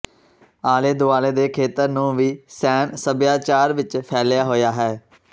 ਆਲੇ ਦੁਆਲੇ ਦੇ ਖੇਤਰ ਨੂੰ ਵੀ ਸੈਨ ਸਭਿਆਚਾਰ ਵਿੱਚ ਫੈਲਿਆ ਹੋਇਆ ਹੈ